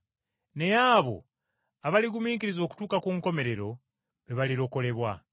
Naye abo abaligumiikiriza okutuuka ku nkomerero be balirokolebwa.